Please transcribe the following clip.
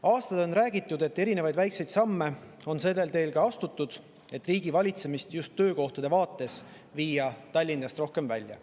Aastaid on räägitud, et erinevaid väikseid samme on astutud sellel teel, et viia riigivalitsemist töökohtade mõttes Tallinnast rohkem välja.